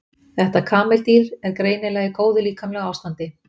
þetta kameldýr er greinilega í góðu líkamlegu ástandi